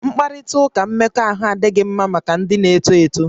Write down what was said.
Mkparịta ụka mmekọahụ adịghị mma maka ndị na-eto eto